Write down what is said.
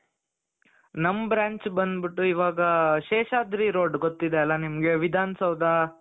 ನಮ್ branch ಬಂದ್ಬಿಟ್ಟು ಇವಾಗ ಶೇಷಾದ್ರಿ road ಗೊತಿದ್ದೆ ಅಲ್ಲ ನಿಮಗೆ ವಿಧಾನಸೌಧ,